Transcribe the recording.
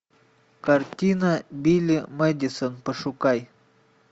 картина билли мэдисон пошукай